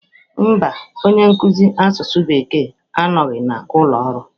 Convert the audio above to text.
Mba, onye nkuzi asụsụ Bekee anọghị n'ụlọ ọrụ